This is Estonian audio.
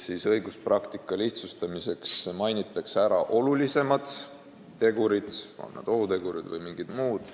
Õiguspraktika lihtsustamiseks mainitakse ära olulisemad tegurid, on need siis ohutegurid või mingid muud.